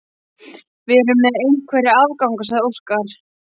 Við erum með einhverja afganga, sagði Óskar.